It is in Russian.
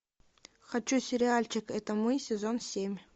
хочу сериальчик это мы сезон семь